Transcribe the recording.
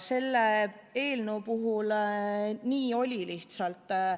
Selle eelnõu puhul oli lihtsalt nii.